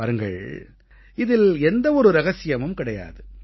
பாருங்கள் இதில் எந்த ஒரு ரகசியமும் கிடையாது